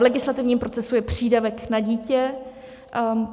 V legislativním procesu je přídavek na dítě.